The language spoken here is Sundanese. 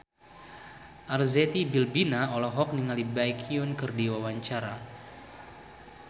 Arzetti Bilbina olohok ningali Baekhyun keur diwawancara